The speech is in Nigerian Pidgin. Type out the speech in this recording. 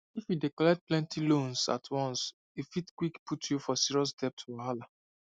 if you dey collect plenty loans at once e fit quick put you for serious debt wahala